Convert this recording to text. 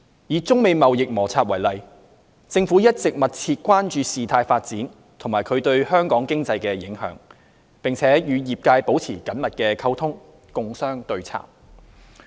以中美貿易摩擦為例，政府一直密切關注事態發展及其對香港經濟的影響，並與業界保持緊密溝通，共商對策。